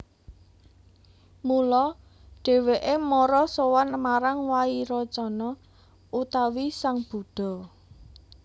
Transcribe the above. Mula dhèwèké mara sowan marang Wairocana utawi sang Buddha